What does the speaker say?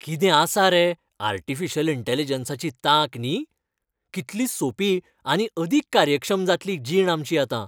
कितें आसा रे आर्टिफिशियल इंटॅलिजन्साची तांक न्ही? कितली सोपी आनी अदीक कार्यक्षम जातली जीण आमची आतां.